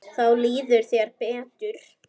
Þá líður þér betur.